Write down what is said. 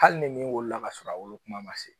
Hali ni min wolola ka sɔrɔ a wolo kuma ma se